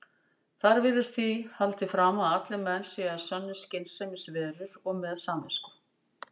Þar virðist því haldið fram að allir menn séu að sönnu skynsemisverur og með samvisku.